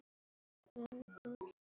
Þetta lýsir þér vel.